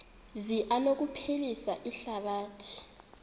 zi anokuphilisa ihlabathi